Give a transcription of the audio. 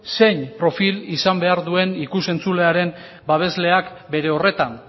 zein profil izan behar duen ikus entzulearen babesleak bere horretan